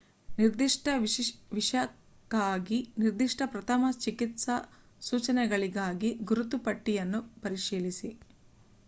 ನಿರ್ದಿಷ್ಟ ವಿಷಕ್ಕಾಗಿ ನಿರ್ದಿಷ್ಟ ಪ್ರಥಮ ಚಿಕಿತ್ಸಾ ಸೂಚನೆಗಳಿಗಾಗಿ ಗುರುತು ಪಟ್ಟಿ ಯನ್ನು ಪರಿಶೀಲಿಸಿ